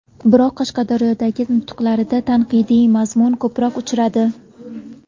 Biroq Qashqadaryodagi nutqlarida tanqidiy mazmun ko‘proq uchradi.